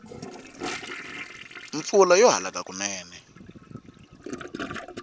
mpfula yo halaka kunene